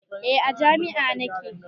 Eh a jami'ah nake